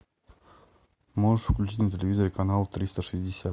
можешь включить на телевизоре канал триста шестьдесят